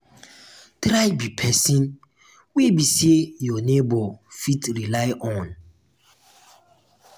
try be person wey be say your neighbor fit rely on